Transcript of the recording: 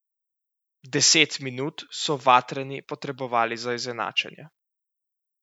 Deset minut so vatreni potrebovali za izenačenje.